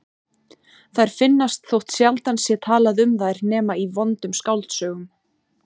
Þær finnast þótt sjaldan sé talað um þær nema í vondum skáldsögum.